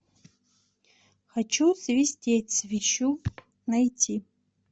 хочу свистеть свищу найти